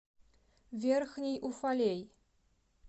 верхний уфалей